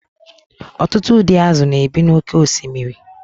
ọtụtụ ụdị azụ̀ na-ebi n’oké osimiri